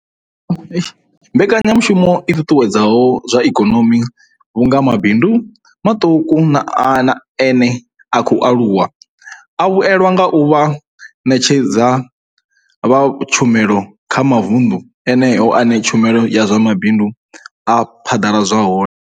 Mbekanyamushumo i ṱuṱuwedza zwa ikonomi vhu nga mabindu maṱuku na ene a khou aluwa a vhuelwa nga u vha vhaṋetshedzi vha tshumelo kha mavundu eneyo ane tshumelo ya zwa mabindu ya phaḓaladzwa hone.